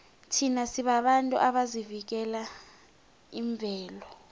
thina sibabantu abavikela imvelo